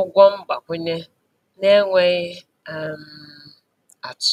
ụgwọ mgbakwunye n’enweghị um atụ.